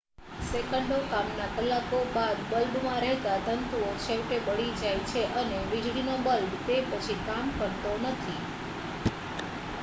સેંકડો કામના કલાકો બાદ બલ્બમાં રહેલા તંતુઓ છેવટે બળી જાય છે અને વીજળીનો બલ્બ તે પછી કામ કરતો નથી